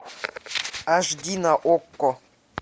аш ди на окко